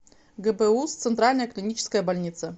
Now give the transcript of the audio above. гбуз центральная клиническая больница